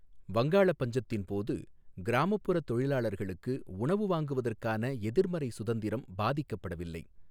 வங்காள பஞ்சத்தின் போது, கிராமப்புற தொழிலாளர்களுக்கு உணவு வாங்குவதற்கான எதிர்மறை சுதந்திரம் பாதிக்கப்படவில்லை.